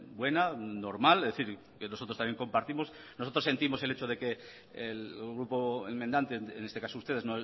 buena normal es decir que nosotros también compartimos nosotros sentimos el hecho de que el grupo enmendante en este caso ustedes